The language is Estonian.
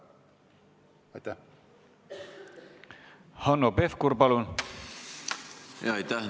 Aitäh!